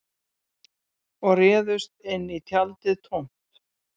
Og réðust inn í tjaldið tómt